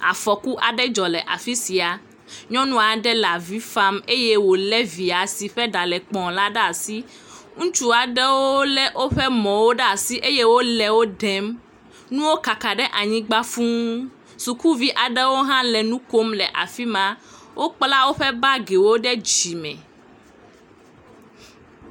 Afɔku aɖe dzɔ le afi sia, nyɔnu aɖe le avi fam eye wòlé via si ƒe ɖa le kpɔ la ɖe asi, ŋutsu aɖewo lé woƒe mɔwo ɖe asi eye wole wo ɖem nuwo kaka ɖe anyigba fũu, sukuviwo hã nɔ afi ma, wokpla woƒe bagi ɖe dzime.